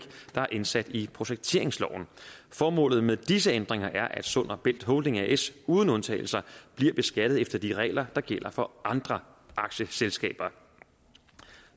der er indsat i projekteringsloven formålet med disse ændringer er at sund og bælt holding as uden undtagelser bliver beskattet efter de regler der gælder for andre aktieselskaber